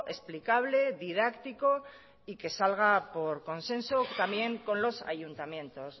explicable didáctico y que salga por consenso también con los ayuntamientos